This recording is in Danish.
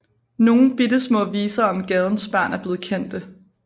Nogle bittesmå viser om gadens børn er blevet kendte